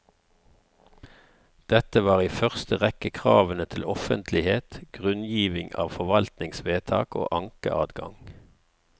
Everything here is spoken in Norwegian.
Dette var i første rekke kravene til offentlighet, grunngiving av forvaltningsvedtak og ankeadgang.